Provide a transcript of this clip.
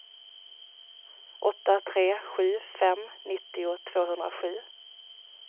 åtta tre sju fem nittio tvåhundrasju